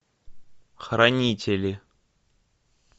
хранители